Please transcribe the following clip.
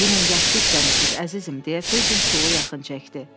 "Dünən yaxşı işləmisiniz əzizim," deyə Fecin stulu yaxın çəkdi.